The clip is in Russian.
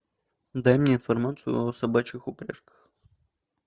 дай мне информацию о собачьих упряжках